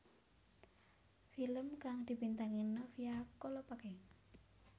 Film kang dibintangi Novia Kolopaking